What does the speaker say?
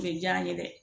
U bɛ diya n ye dɛ